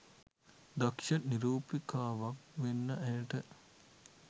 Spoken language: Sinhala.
දක්ෂ නිරූපිකාවක් වෙන්න ඇයට